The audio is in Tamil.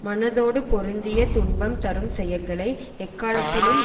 மனதோடு பொருந்திய துன்பம் தரும் செயல்களை எக்காலத்திலும்